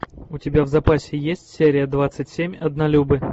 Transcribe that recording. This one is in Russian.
у тебя в запасе есть серия двадцать семь однолюбы